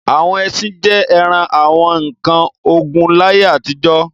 Àwọn ẹṣin jẹ́ ara àwọn nǹkan ogun láyé àtijọ́.